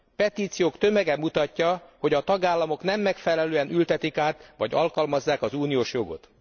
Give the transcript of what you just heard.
Petíciók tömege mutatja, hogy a tagállamok nem megfelelően ültetik át vagy alkalmazzák az uniós jogot.